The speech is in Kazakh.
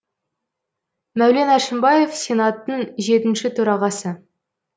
мәулен әшімбаев сенаттың жетінші төрағасы